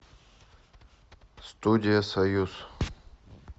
студия союз